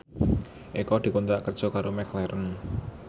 Eko dikontrak kerja karo McLaren